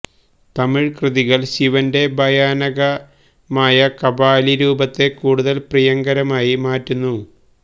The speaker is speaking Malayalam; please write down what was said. തമിഴ് കൃതികൾ ശിവന്റെ ഭയാനകമായ കപാലി രൂപത്തെ കൂടുതൽ പ്രിയങ്കരമാക്കി മാറ്റുന്നു